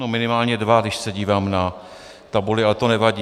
No, minimálně dva, když se dívám na tabuli, ale to nevadí.